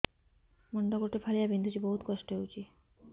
ମୁଣ୍ଡ ଗୋଟେ ଫାଳିଆ ବିନ୍ଧୁଚି ବହୁତ କଷ୍ଟ ହଉଚି